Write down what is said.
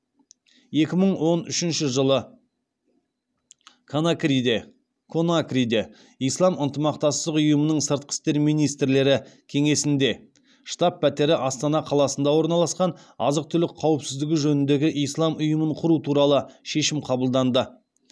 екі мың он үшінші жылы конакриде ислам ынтымақтастық ұйымының сыртқы істер министрлер кеңесінде штаб пәтері астана қаласында орналасқан азық түлік қауіпсіздігі жөніндегі ислам ұйымын құру туралы шешім қабылданды